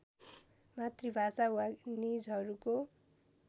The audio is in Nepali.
मातृभाषा वा निजहरूको